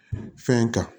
Fɛn kan